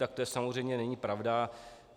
Tak to samozřejmě není pravda.